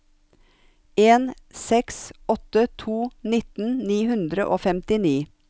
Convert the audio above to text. en seks åtte to nitten ni hundre og femtini